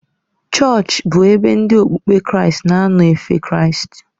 Chọọchị bụ ebe ndị okpukpe Kraịst na-anọ efe Kraịst.